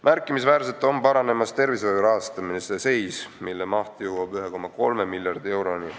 Märkimisväärselt paraneb tervishoiu rahastamine, mille maht jõuab 1,3 miljardi euroni.